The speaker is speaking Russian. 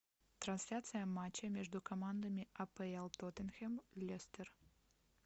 трансляция матча между командами апл тоттенхэм лестер